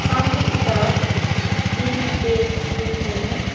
सामने की तरफ ग्रीन पेड़ देख रही हूं।